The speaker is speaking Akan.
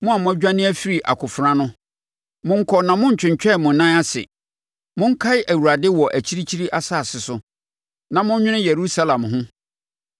Mo a mo adwane afiri akofena ano, monkɔ na monntwentwɛn mo nan ase! Monkae Awurade wɔ akyirikyiri asase so, na monnwene Yerusalem ho.”